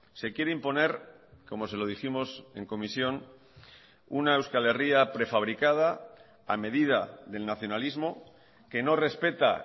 se quiere imponer como se lo dijimos en comisión una euskal herria prefabricada a medida del nacionalismo que no respeta